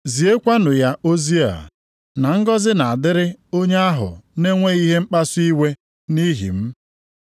Ziekwanụ ya ozi a, na ngọzị na-adịrị onye ahụ na-enweghị ihe mkpasu iwe nʼihi m.”